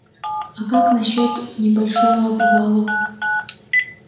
а как насчёт небольшого обвала